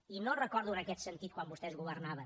i no recordo en aquest sentit quan vostès governaven